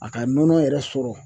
A ka nɔnɔ yɛrɛ sɔrɔ